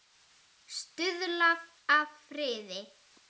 Stuðlað að friði